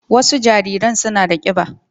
Wasu jariran suna da kiba